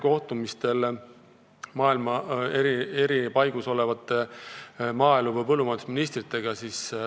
Olen maailma eri paigus kohtunud maaelu- ja põllumajandusministritega.